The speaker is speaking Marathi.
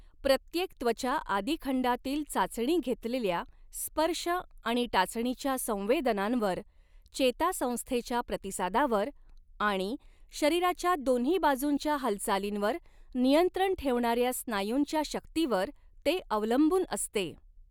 प्रत्येक त्वचा आदिखंडातील चाचणी घेतलेल्या स्पर्श आणि टाचणीच्या संवेदनांवर, चेतासंस्थेच्या प्रतिसादावर आणि शरीराच्या दोन्ही बाजूंच्या हालचालींवर नियंत्रण ठेवणाऱ्या स्नायूंच्या शक्तीवर ते अवलंबून असते.